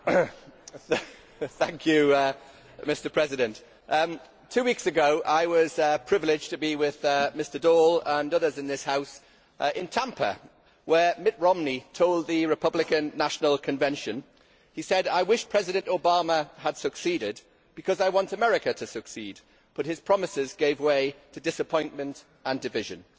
Mr President, two weeks ago I was privileged to be with Mr Daul and others from this House in Tampa, where Mitt Romney told the Republican National Convention I wish President Obama had succeeded because I want America to succeed, but his promises gave way to disappointment and division'.